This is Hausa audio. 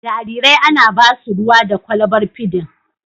Jarirai ana ba su ruwa da kwalbar fidin.